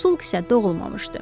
Pusk isə doğulmamışdı.